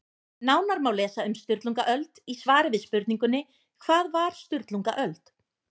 Nánar má lesa um Sturlungaöld í svari við spurningunni Hvað var Sturlungaöld?